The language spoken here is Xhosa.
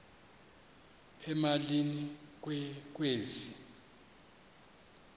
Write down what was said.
emalini ke kwezi